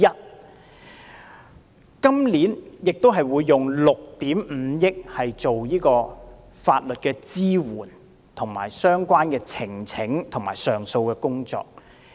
政府今年也會動用6億 5,000 萬元，進行有關法律支援、呈請和上訴的工作。